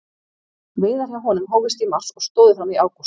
Veiðar hjá honum hófust í mars og stóðu fram í ágúst.